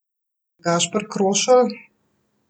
Gašper Krošelj?